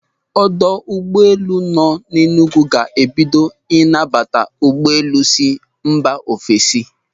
Ọdọ ụgbọelu nọ n'Énùgwù ga-ebido ịnabata ụgbọelu si mba ofesi.